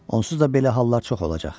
Onsuz da belə hallar çox olacaq.